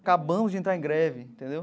Acabamos de entrar em greve, entendeu?